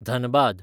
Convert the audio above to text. Dhanbad